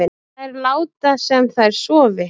Þær láta sem þær sofi